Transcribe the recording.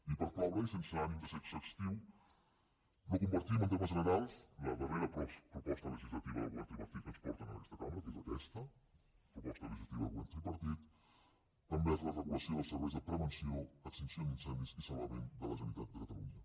i per cloure i sense ànim de ser exhaustiu no com·partim en termes generals la darrera proposta legis·lativa del govern tripartit que ens porten en aquesta cambra que és aquesta proposta legislativa del go·vern tripartit envers la regulació dels serveis de pre·venció extinció d’incendis i salvament de la generali·tat de catalunya